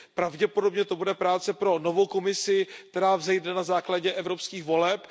Pravděpodobně to bude práce pro novou Komisi, která vzejde na základě evropských voleb.